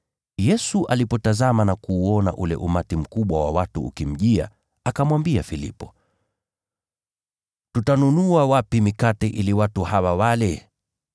Yesu alipotazama na kuuona ule umati mkubwa wa watu ukimjia, akamwambia Filipo, “Tutanunua wapi mikate ili watu hawa wale?”